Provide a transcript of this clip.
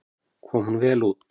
Kom hún vel út.